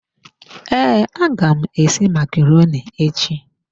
Ee, aga m esi macaroni echi.